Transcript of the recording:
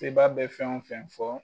Sebaa be fɛn o fɛn fɔ